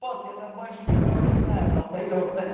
вот я там больше никого не знаю долбаёб ха